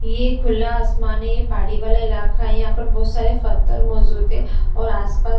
ये खुला आसमान है ये पहाड़ी वाला इलाका है यहां पर बहुत सारे फ़त्थर मौजूद है और आसपास--